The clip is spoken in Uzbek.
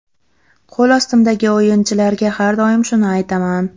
Qo‘l ostimdagi o‘yinchilarga har doim shuni aytaman.